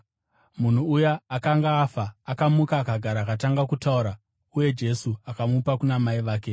Munhu uya akanga afa akamuka akagara akatanga kutaura, uye Jesu akamupa kuna mai vake.